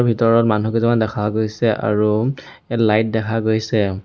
ভিতৰত মানুহ কিছুমান দেখা গৈছে আৰু এ লাইট দেখা গৈছে।